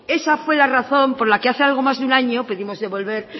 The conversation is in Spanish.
esa fue la razón por la que hace algo más de un año pudimos devolver